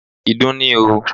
Ìdun ni o.